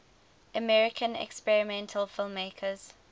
american experimental filmmakers